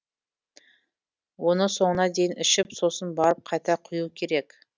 оны соңына дейін ішіп сосын барып қайта құю керек